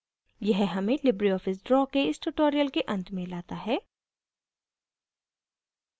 यह हमें libreoffice draw के इस tutorial के अंत में लाता है